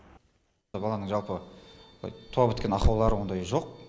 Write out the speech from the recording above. баланың жалпы туа біткен ақаулары ондайы жоқ